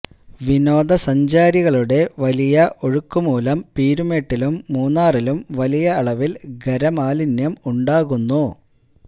വിനോദ സഞ്ചാരികളുടെ വലിയ ഒഴുക്കുമൂലം പീരുമേട്ടിലും മൂന്നാറിലും വലിയ അളവില് ഖരമാലിന്യം ഉണ്ടാകുന്നു